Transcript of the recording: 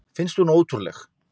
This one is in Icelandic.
Finnst hún ótrúleg.